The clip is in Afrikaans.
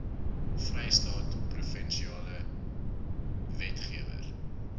vrystaat provinsiale wetgewer